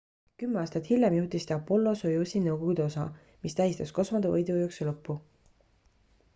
kümme aastat hiljem juhtis ta apollo-soyuzi nõukogude osa mis tähistas kosmose võidujooksu lõppu